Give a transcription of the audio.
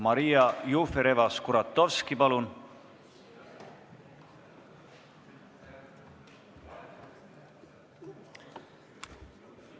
Maria Jufereva-Skuratovski, palun!